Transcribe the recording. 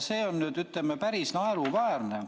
See on päris naeruväärne.